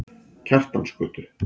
Kjartansgötu